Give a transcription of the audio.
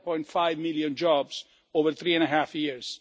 7.5 million jobs over three and a half years.